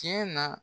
Tiɲɛ na